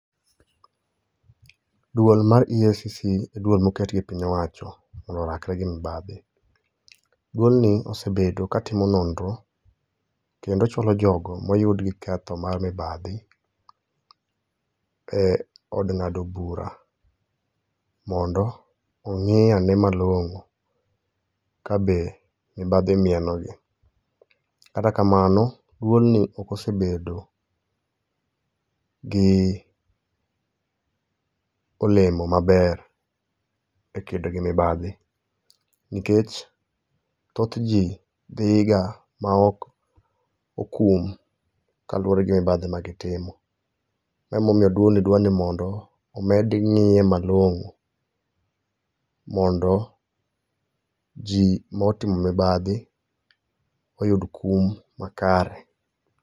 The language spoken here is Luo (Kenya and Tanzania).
Dwol mar EACC e dwol moket gi piny owacho mondo orakre gi mibadhi. Dwolni osebedo katimo nonro ,kendo chulo jogo moyud gi ketho mar mibadhi e od ng'ado bura mondo ong'i ane malong'o kabe mibadhi mienogi. Kata kamano, dwolni ok osebedo gi olemo maber e kedo gi mibadhi, nikech thoth ji dhi ga ma ok okum kaluwore gi mibadhi magitimo. Emomiyo dwolni dwar ni mondo omed ng'iye malong'o, mondo ji motimo mibadhi oyud kum makare.